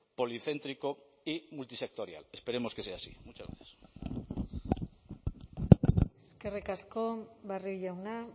policéntrico y multisectorial esperemos que sea así muchas gracias eskerrik asko barrio jauna